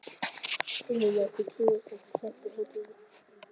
Heimir Már: Þið trúið sem sagt hótuninni?